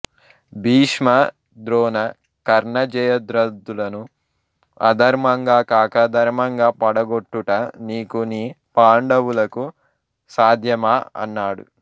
భీష్మ ద్రోణ కర్ణ జయధ్రదులను అధర్మంగా కాక ధర్మంగా పడగొట్టుట నీకు నీ పాండవులకు సాధ్యమా అన్నాడు